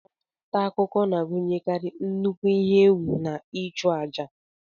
Ọrụ nta akụkọ na-agụnyekarị nnukwu ihe egwù na ịchụ àjà.